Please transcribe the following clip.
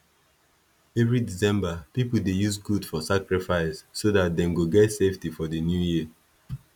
every december people dey use goat for sacrifice so dat them go get safety for the new year